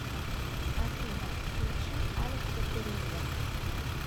афина включи алекса террибла